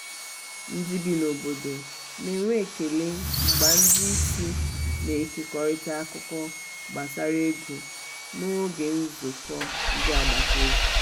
ndị bi n'obodo na-enwe ekele mgbe ndi isi na-ekekọrịta akụkọ gbasara ego n'oge nzukọ ndị agbata obi.